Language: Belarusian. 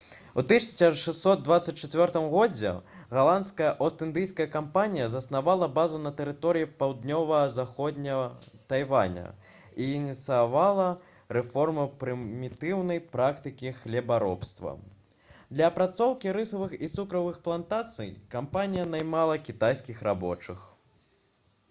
у 1624 г галандская ост-індыйская кампанія заснавала базу на тэрыторыі паўднёва-заходняга тайваня і ініцыявала рэформу прымітыўнай практыкі хлебаробства для апрацоўкі рысавых і цукровых плантацый кампанія наймала кітайскіх рабочых